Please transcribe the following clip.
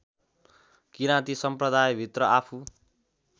किराँती सम्प्रदायभित्र आफू